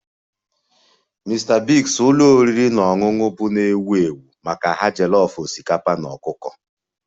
Mr Biggs ụlọ oriri na ọṅụṅụ bụ nnọọ ewu ewu maka ha jollof osikapa na ọkụkọ